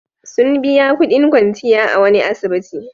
Sun biya kudin kwanciya a wani asibiti.